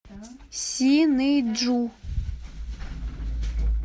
синыйджу